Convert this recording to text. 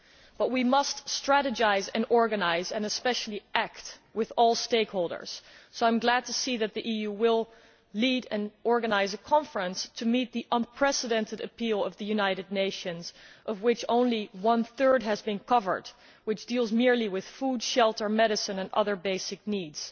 But we must strategise and organise and especially act with all stakeholders, so I am glad to see that the EU will lead and organise a conference to meet the unprecedented appeal of the United Nations, of which only one third has been covered, which deals merely with food, shelter, medicine and other basic needs.